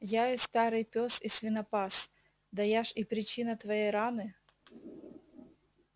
я и старый пёс и свинопас да я ж и причина твоей раны